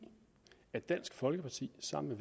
dansk folkeparti sammen